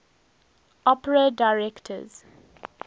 opera directors